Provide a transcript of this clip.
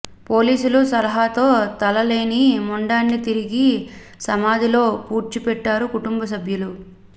పోలీసుల సలహాతో తల లేని మొండాన్ని తిరిగి సమాధిలో పూడ్చిపెట్టారు కుటంబసభ్యులు